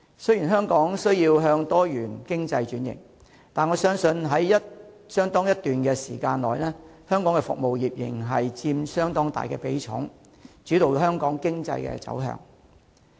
雖然香港需要向多元經濟轉型，但我相信在相當一段時間內，香港服務業仍然會佔相當大的比重，主導香港經濟走向。